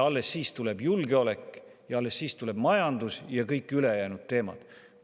Alles siis tuleb julgeolek, alles siis tuleb majandus ja kõik ülejäänud teemad.